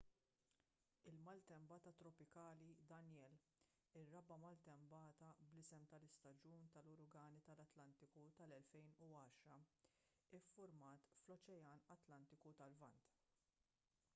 il-maltempata tropikali danielle ir-raba' maltempata b'isem tal-istaġun tal-uragani tal-atlantiku tal-2010 iffurmat fl-oċean atlantiku tal-lvant